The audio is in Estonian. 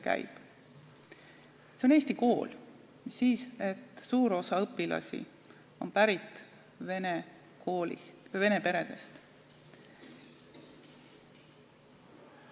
See on eesti kool, mis siis, et suur osa õpilasi on pärit vene peredest.